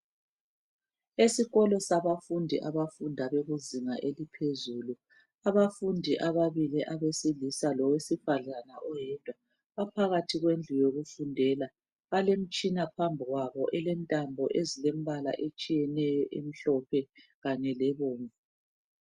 Esikolo sabafundi abafunda bekuzinga eliphezuli. Abafundi ababili abesilisa lowesifazana baphakathi kwendlu yokufundela, balemtshina phambi kwabo elentambo ezilembala etshiyeneyo emhlophe kanye lebomvu.